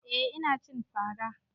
Eh ina cin fara